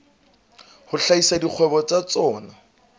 a hlahisa dikgwebo tsa tsona